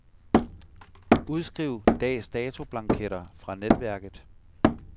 Udskriv dags datoblanketter fra netværket.